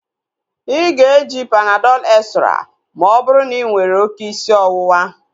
Ịga eji Panadọl extra ma ọ bụrụ na inwere oké isi ọwụwa